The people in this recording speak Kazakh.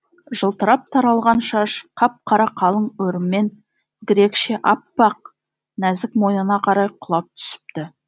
жылтырап таралған шаш қап қара қалың өріммен грекше аппақ нәзік мойнына қарай құлап түсіпті